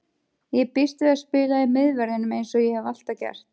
Ég býst við að spila í miðverðinum eins og ég hef alltaf gert.